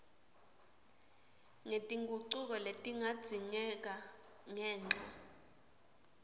ngetingucuko letingadzingeka ngenca